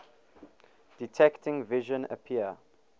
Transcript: detecting vision appear